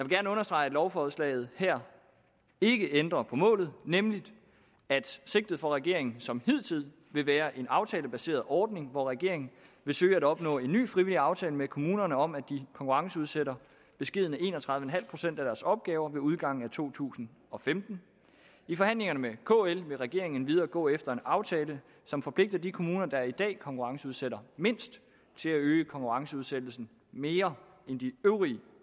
gerne understrege at lovforslaget her ikke ændrer på målet nemlig at sigtet for regeringen som hidtil vil være en aftalebaseret ordning hvor regeringen vil søge at opnå en ny frivillig aftale med kommunerne om at de konkurrenceudsætter beskedne en og tredive procent af deres opgaver ved udgangen af to tusind og femten i forhandlingerne med kl vil regeringen endvidere gå efter en aftale som forpligter de kommuner der i dag konkurrenceudsætter mindst til at øge konkurrenceudsættelsen mere end de øvrige